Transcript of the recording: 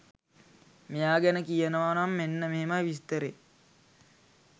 මෙයා ගැන කියනවනම් මෙන්න මෙහෙමයි විස්තරේ.